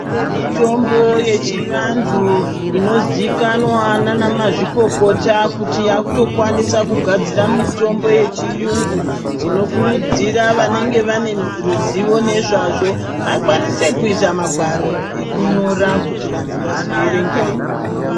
Kune mitombo yechivantu inoziikanwa naana mazvokokota kuti yaakutokwanisa kugadzira mitombo yechiyungu. Tinokurudzira vanenge vane ruzivo nezvazvo vakwanise kuisa magwaro ekunyora kuti vantu vazoerengawo.